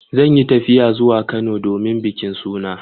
Zan yi tafiya zuwa Kano domin bikin suna.